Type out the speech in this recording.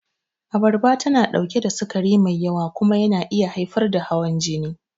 Abarba tana ɗauke da sukari mai yawa kuma yana iya haifar da hawan jini.